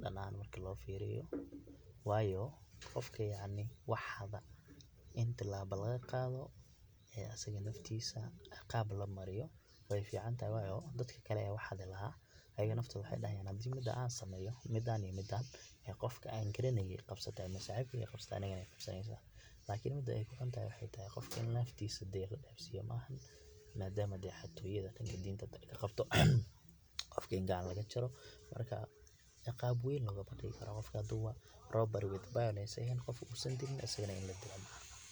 dhan ahan marki loo firiyo wayo qofka yacni wax xada in tilaaba laga qaado ee asaga naftiisa iqaab lamariyo way ficantahay wayo dadka kale aya wax xaadi lahaa ayaga naftood waxay dhahayaan hadan sameeeyo midan iyo midan qofka an garanaye qabsate ama saxibkey qabsate aniga way ii qabsaneysa, lakin mida ay kuxuntahay aya waxay tahay qofka dee in laifkisa la dhafiyo ma ahan madama dee xatoyada dhanka diinta ay kaqabto qofka in gacanta laga jaaro marka ciqaab weyn lama marin karo qofka haduba robbery with violence u ehen qof usan dilini asagana ini laa dilo ma aha.